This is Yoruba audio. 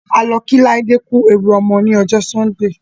A lọ kí Láídé ku ewu ọmọ lọ́jọ́ Sọ́ńdè.